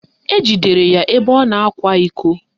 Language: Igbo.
Ejidere ya ebe ọ na-akwa iko